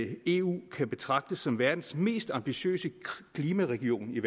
at eu kan betragtes som verdens mest ambitiøse klimaregion